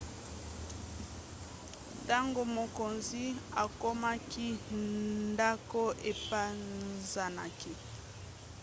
ntango mokonzi akomaki ndako epanzanaki